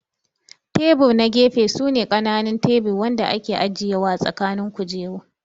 Tebur na gefe su ne kananun tebur Wanda ake ajiya ã tsakanin kujeru.